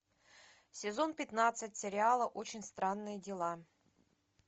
сезон пятнадцать сериала очень странные дела